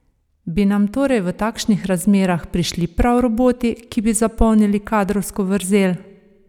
Bi nam torej v takšnih razmerah prišli prav roboti, ki bi zapolnili kadrovsko vrzel?